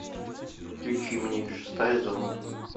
включи мне шестая зона